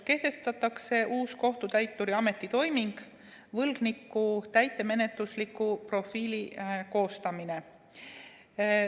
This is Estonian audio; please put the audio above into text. Kehtestatakse uus kohtutäituri ametitoiming: võlgniku täitemenetlusliku profiili koostamine.